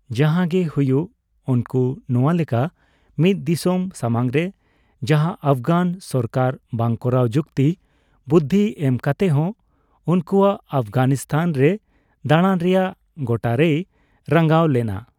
ᱡᱟᱦᱟᱸᱜᱮ ᱦᱩᱭᱩᱜ, ᱩᱱᱠᱩ ᱱᱚᱣᱟ ᱞᱮᱠᱟ ᱢᱤᱫ ᱫᱤᱥᱚᱢ ᱥᱟᱢᱟᱝ ᱨᱮ ᱡᱟᱦᱟᱸ ᱟᱯᱷᱜᱟᱱ ᱥᱚᱨᱠᱟᱨ ᱵᱟᱝ ᱠᱚᱨᱟᱣ ᱡᱩᱠᱛᱤ ᱵᱩᱫᱫᱷᱤ ᱮᱢ ᱠᱟᱛᱮᱦᱚᱸ ᱩᱱᱠᱩᱣᱟᱜ ᱟᱯᱜᱷᱟᱱᱤᱛᱟᱱ ᱨᱮ ᱫᱟᱸᱲᱟᱱ ᱨᱮᱭᱟᱜ ᱜᱚᱴᱟᱨᱮᱭ ᱨᱟᱸᱜᱟᱣ ᱞᱮᱱᱟ ᱾